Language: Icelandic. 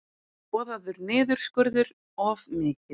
Boðaður niðurskurður of mikill